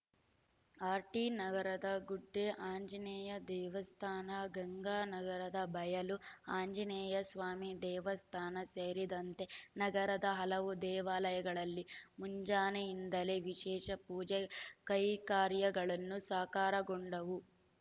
ಆರ್‌ಟಿನಗರದ ಗುಡ್ಡೆ ಆಂಜನೇಯ ದೇವಸ್ಥಾನ ಗಂಗಾನಗರದ ಬಯಲು ಆಂಜನೇಯ ಸ್ವಾಮಿ ದೇವಸ್ಥಾನ ಸೇರಿದಂತೆ ನಗರದ ಹಲವು ದೇವಾಲಯಗಳಲ್ಲಿ ಮುಂಜಾನೆಯಿಂದಲೇ ವಿಶೇಷ ಪೂಜಾ ಕೈಂಕಾರ್ಯಗಳನ್ನು ಸಾಕಾರಗೊಂಡವು